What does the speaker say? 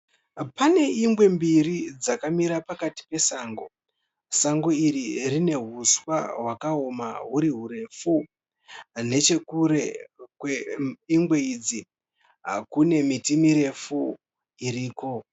Pane ingwe mbiri dzakamira pakati pesango. Sango iri rine huswa hwakaoma huri hurefu, nechekure kweingwe idzi kune miti miviri iriko